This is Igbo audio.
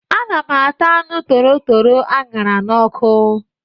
Ana m ata anụ torotoro aṅara n'ọkụ.